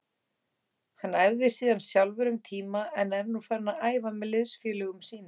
Hann æfði síðan sjálfur um tíma en er nú farinn að æfa með liðsfélögum sínum.